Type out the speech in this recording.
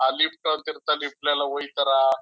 ಆ ಲಿಫ್ಟ್ ಅಂತ ಲಿಫ್ಟ್ ಲ ಎಲ್ಲ ಹೋಯ್ತರ.